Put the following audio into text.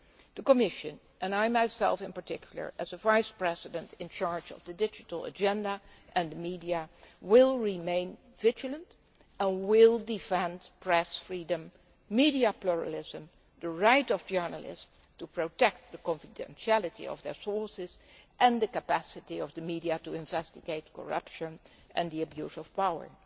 The Commission, and myself, in particular, as vice president in charge of the digital agenda and the media, will remain vigilant and will defend press freedom, media pluralism, the right of journalists to protect the confidentiality of their sources and the capacity of the media to investigate corruption and the abuse of power.